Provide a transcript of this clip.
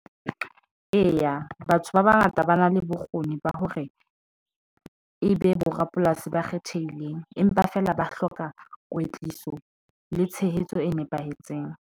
Eya, batho ba bangata, ba na le bokgoni ba hore e be borapolasi ba kgethehileng empa feela ba hloka kwetliso le tshehetso e nepahetseng.